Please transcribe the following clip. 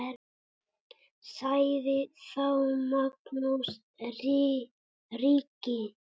Sagði þá Magnús ríki